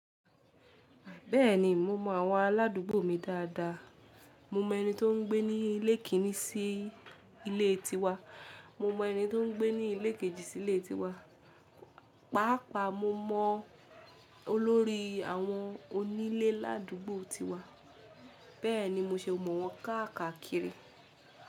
Bẹ́ẹ̀ni mo mọ àwọn aládùúgbò mi dáadáa. Mo mọ ẹni tó ń gbé ní ilé kìn-ín-ní sí ilé ti wa, mo mọ ẹni tó ń gbé ní ilé kejì sí ilé ti wa, pàápàá mo mọ olórí àwọn onílé ládùúgbò ti wa. Bẹ́ẹ̀ni mo ṣe mọ̀ wọ́n káàkiri.